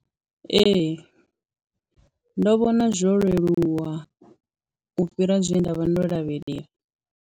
Ee, ndo vhona zwo leluwa u fhira zwe nda vha ndo lavhelela.